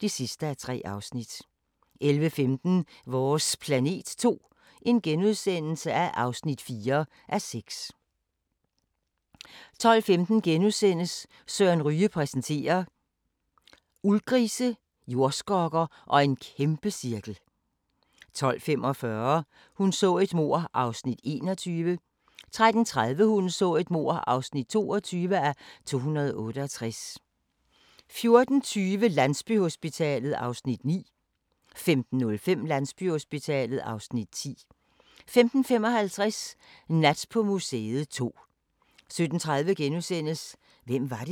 08:25: Skandale! - 1998, skammens Tour de France (Afs. 3)* 09:05: Middelhavsfest (5:8) 09:50: Middelhavsfest (6:8) 10:35: Middelhavsfest (7:8) 11:20: Middelhavsfest (8:8) 12:10: Arvingerne i skærgården II (2:5) 13:35: Arvingerne i skærgården II (3:5) 15:00: Ausfahrt (Afs. 3)* 16:05: Pilgrimsrejsen (Afs. 1) 17:35: The Duchess